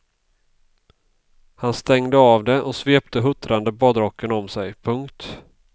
Han stängde av det och svepte huttrande badrocken om sig. punkt